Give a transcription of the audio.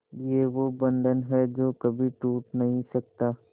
ये वो बंधन है जो कभी टूट नही सकता